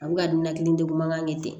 A bɛ ka nin nakili degun mankan kɛ